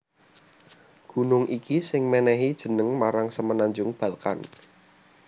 Gunung iki sing mènèhi jeneng marang Semenanjung Balkan